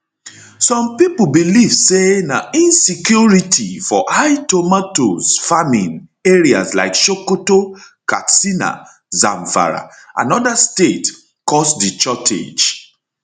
some pipo believe say na insecurity for high tomatoes farming areas like sokoto katsina zamfara and oda states oda states cause di shortage